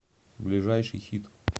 ближайший хит